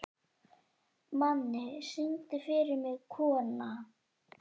Manni, syngdu fyrir mig „Kona“.